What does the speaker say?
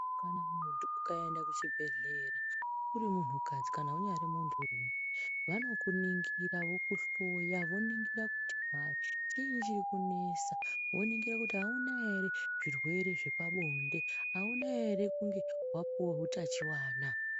Kana muntu ukaenda kuchibhedhlera uri muntukadzi kana unyari munturume, vanokunigira vokuhloya voningira kuti hai chiinyi chiri kunesa, voningira kuti auna ere zvirwere zvepabonde, auna ere kunge wapuwa hutachiwana.